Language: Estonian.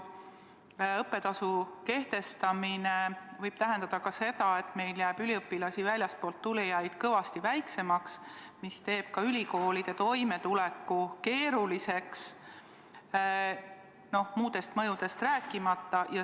Õppetasu kehtestamine võib tähendada ka seda, et meil jääb üliõpilasi, väljastpoolt tulijaid, kõvasti vähemaks, mis teeb ka ülikoolide toimetuleku keeruliseks, muudest mõjudest rääkimata.